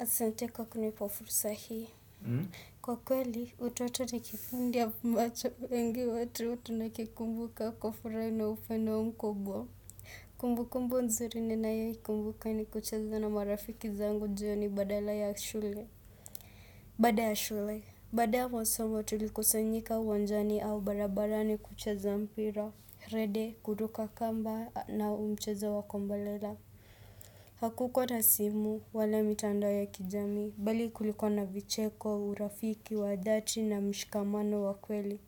Asante kwa kunipa fursa hii. Kwa kweli, utu watu na kiufundi ya mbacha wengi watu nakikumbuka kwa furaha na upendo mkubwa. Kumbukumbu nzuri ninayoikumbuka ni kucheza na marafiki zangu jioni badala ya shule. Baada ya shule. Baada ya masoma tulikusanyika uwanjani au barabarani kucheza mpira. Rede, kuruka kamba na mchezo wa kombolera. Hakukuwa na simu, wala mitandao ya kijamii, bali kulikuwa na vicheko, urafiki, wa dhati na mshikamano wa kweli.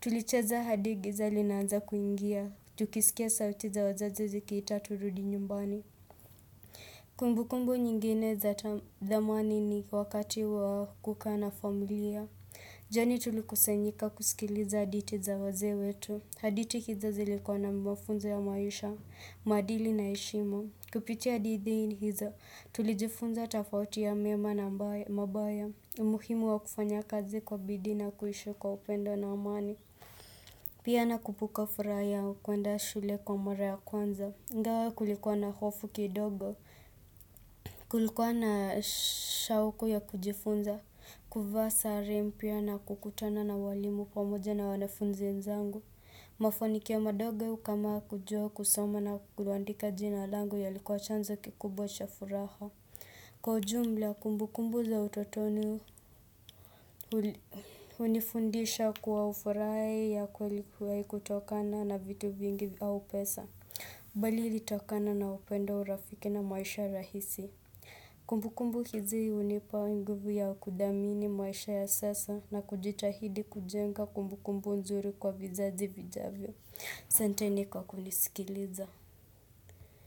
Tulicheza hadi giza linaanza kuingia, tukisikia sauti za wazazi zikiita turudi nyumbani. Kumbukumbu nyingine za zamani ni wakati wa kukaa na familia. Jioni tulikusanyika kusikiliza hadithi za wazee wetu. Hadithi hizo zilikuwa na mafunzo ya maisha, maadili na heshima. Kupitia hadithi hizo, tulijifunza tofauti ya mema na mabaya. Muhimu wa kufanya kazi kwa bidii na kuishi kwa upendo na amani. Pia nakumbuka furaha ya kuenda shule kwa mara ya kwanza. Ingawa kulikuwa na hofu kidogo. Kulikuwa na shauku ya kujifunza. Kuvaa sare mpya na kukutana na walimu pamoja na wanafunzi wenzangu. Mafanikio madogo kama kujua kusoma na kuandika jina langu yalikuwa chanzo kikubwa cha furaha Kwa jumla kumbukumbu za utotoni hunifundisha kuwa ufurahi ya kweli kutokana na vitu vingi au pesa bali ilitokana na upendo urafiki na maisha rahisi Kumbukumbu hizi hunipa nguvu ya kudhamini maisha ya sasa na kujitahidi kujenga kumbukumbu nzuri kwa vizazi vijavyo Ahsanteni kwa kunisikiliza.